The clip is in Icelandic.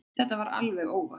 Þetta var alveg óvart.